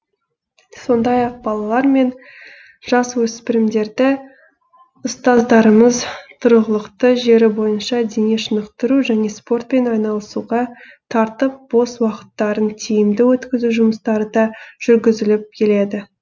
сондай ақ балалар мен жасөспірімдерді ұстаздарымыз тұрғылықты жері бойынша дене шынықтыру және спортпен айналысуға тартып бос уақыттарын тиімді өткізу жұмыстары да жүргізіліп келеді